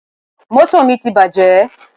Mọ́tò mi ti bàjẹ́.